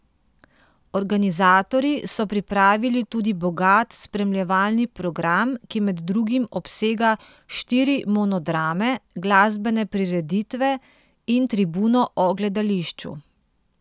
Organizatorji so pripravili tudi bogat spremljevalni program, ki med drugim obsega štiri monodrame, glasbene prireditve in tribuno o gledališču.